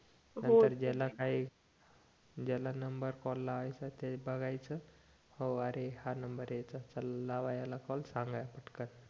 हो नंतर ज्याला काही ज्याला नंबर कॉल लावायचा त्याला बघायचं हो अरे हा नंबर आहे याचा लावा याला कॉल सांगा काय